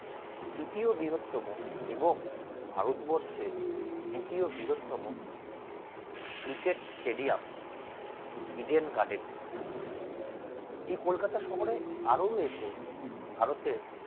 তৃতীয় বৃহত্তম এবং ভারতবর্ষে দ্বিতীয় বৃহত্তম cricket stadium Eden Garden এই কলকাতা শহরে আরো রয়েছে ভারতের।